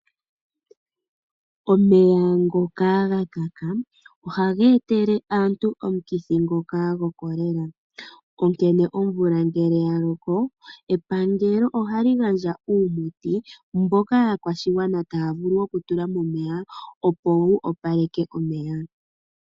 Omeya ngoka gakaka ohaga etele aantu omukithi ngoka gokolela. Omvula ngele yaloko epangelo ohali gandja uumuti mboka aakwashigwana taya vulu okutula momeya opo wu opaleke omeya.